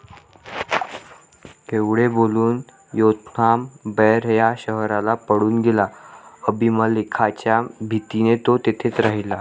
एवढे बोलून योथाम बैर या शहराला पळून गेला. अबीमलेखाच्या भीतीने तो तेथेच राहिला.